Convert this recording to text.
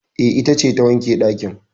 E, ita ce ta wanke ɗakin